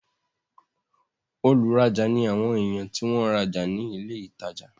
olùrajà ni àwọn èèyàn tí wọ́n ń rajà ní ilé ìtajà